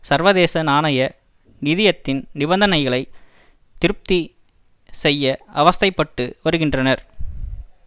சர்வதேச நாணய நிதியத்தின் நிபந்தனைகளை திருப்தி செய்ய அவஸ்தைப்பட்டு வருகின்றார்